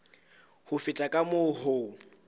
ho feta ka moo ho